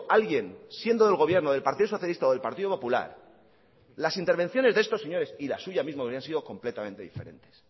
alguien siendo del gobierno del partido socialista o del partido popular las intervenciones de estos señores y la suya misma hubieran sido completamente diferentes